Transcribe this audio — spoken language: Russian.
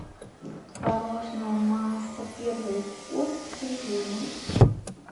творожная масса первый вкус с изюмом